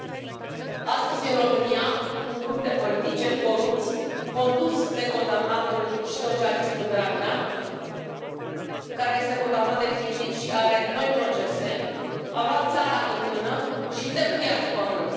Doamnă președintă, astăzi în România un grup de politicieni corupți condus de condamnatul și socialistul Dragnea, care este condamnat definitiv și are noi procese, a luat țara în mână și dă cu ea de pământ.